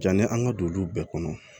Janni an ka don olu bɛɛ kɔnɔ